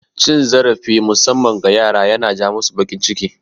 Cin zarafi musamman ga yara yana ja masu bakin ciki